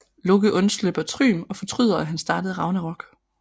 Loke undslipper Thrym og fortryder at han startede Ragnarok